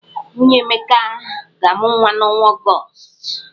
Nwunye Emeka ga-amụ nwa n'ọnwa Ọgọọst.